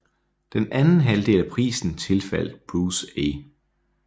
Den anden halvdel af prisen tilfaldt Bruce A